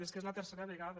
és que és la tercera vegada